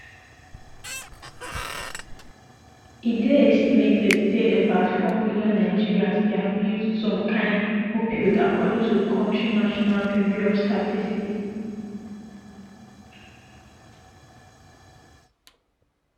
e dey estimated say about four million nigerians dey abuse some kain opioid according to di kontri national bureau of statistics